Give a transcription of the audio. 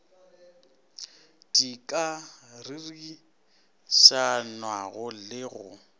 di ka ririšanwago le go